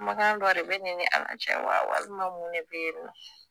Kumakan dɔ de b'e ne n'e ni ala cɛ wa walima mun de be yen nɔ